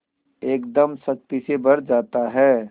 एकदम शक्ति से भर जाता है